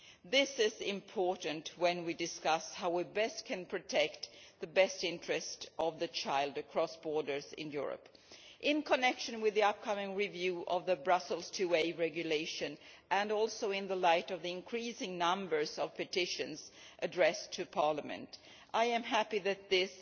This is important when we discuss how best to protect the best interest of children across borders in Europe. In connection with the upcoming review of the Brussels IIA Regulation and also in light of the increasing number of petitions addressed to Parliament, I am happy that this